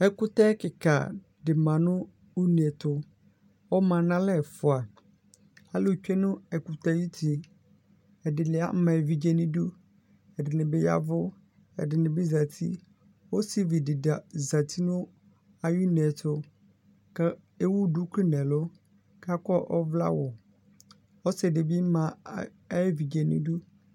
Ɛkʋtɛ kika manʋ une ɛtʋ alʋtsue nʋ ɛkʋtɛ yɛ ayʋ uti ɛdini ama evidze nʋ idʋ ɛdini bi ya evʋ ɛdini bi zati ɔsividi zati nʋ ayʋ une ɛtʋ kʋ ewʋ duku nʋ ɛlʋ kʋ akɔ ɔwlɛawʋ ɔsidibi ama ayʋ evidze nʋ idʋ